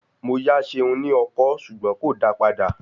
Mo yá Seun ní ọkọ́ ṣùgbọ́n kò dáa padà.